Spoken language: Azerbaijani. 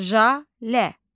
Jalə.